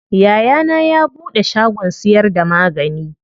Yayana ya buɗe shagon siyar da magani.